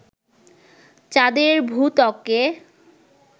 চাঁদের ভূত্বকে